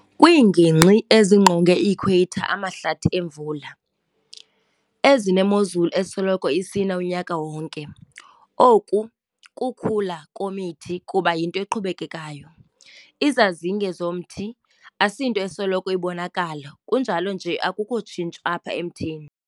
Kwiingingqi ezingqonge i-Equator amahlathi emvula, ezinemozulu esoloko isina unyaka wonke, oku kukhula kwemithi kuba yinto eqhubekayo. Izazinge zomthi asinto esoloko ibonakala kunjalo nje akukho tshintsho apha emthini.